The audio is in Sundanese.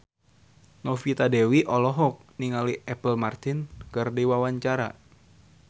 Novita Dewi olohok ningali Apple Martin keur diwawancara